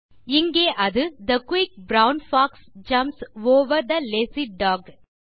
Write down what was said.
இங்கே அது the quick brown fox jumps over the lazy talk